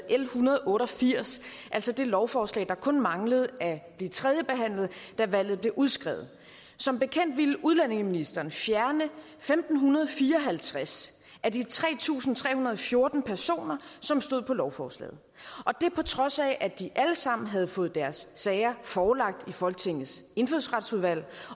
en hundrede og otte og firs altså det lovforslag der kun manglede at blive tredjebehandlet da valget blev udskrevet som bekendt ville udlændingeministeren fjerne femten fire og halvtreds af de tre tusind tre hundrede og fjorten personer som stod på lovforslaget og det på trods af at de alle sammen havde fået deres sager forelagt i folketingets indfødsretsudvalg